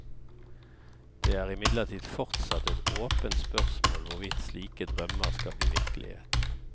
Det er imidlertid fortsatt et åpent spørsmål hvorvidt slike drømmer skal bli virkelighet.